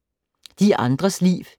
De andres liv